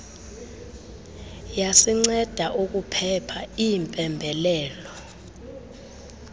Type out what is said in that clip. yasinceda ukuphepha iimpembelelo